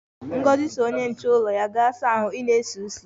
Ngozi si onye nche ulo ya,"gaa saa ahu, i na-esi isi"!